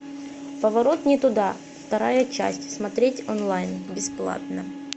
поворот не туда вторая часть смотреть онлайн бесплатно